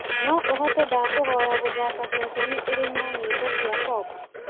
no ũhote ndakũhoya gũthaaka ceceni ĩrĩ na nyĩmbo cia pop